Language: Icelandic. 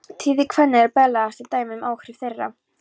Tíðir kvenna eru berlegasta dæmið um áhrif þeirra.